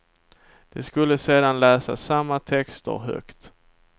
De skulle sedan läsa samma texter högt.